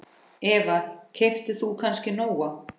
Eva: Keyptir þú kannski Nóa?